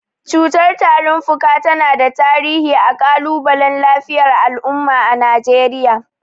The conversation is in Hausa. Cutar tarin fuka tana da tarihi a kalubalen lafiyar al’umma a Najeriya.